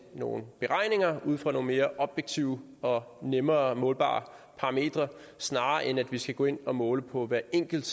nogle beregninger ud fra nogle mere objektive og nemmere målbare parametre snarere end at vi skal gå ind og måle på hvert enkelt